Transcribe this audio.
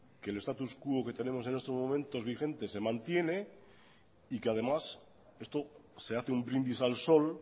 que el status quo que tenemos en estos momentos vigente se mantiene y que además esto se hace un brindis al sol